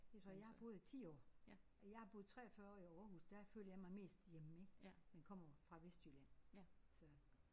Jeg tror jeg har boet i 10 år og jeg har boet 43 år i Aarhus. Der følte jeg mig mest hjemme ik men kommer jo fra Vestjylland så